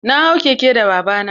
Na hau keke da baba na.